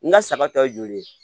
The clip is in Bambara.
N ka saba ta ye joli ye